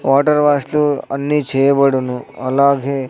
Water wash అన్నీ చేయబడును అలాగే.